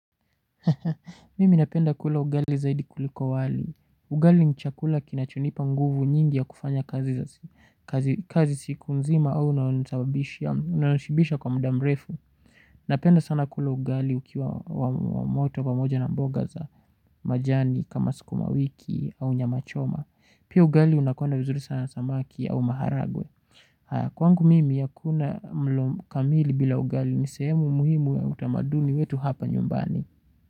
Mimi napenda kula ugali zaidi kuliko wali. Ugali ni chakula kinacho nipa nguvu nyingi ya kufanya kazi siku nzima au inashibisha kwa muda mrefu. Napenda sana kula ugali ukiwa wa moto pamoja na mboga za majani kama sukumawiki au nyama choma. Pia ugali unakwenda vizuri sana na samaki au maharagwe. Kwangu mimi hakuna mlo kamili bila ugali. Ni sehemu muhimu ya utamaduni wetu hapa nyumbani.